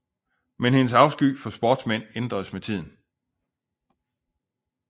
Men hendes afsky for sportsmænd ændres med tiden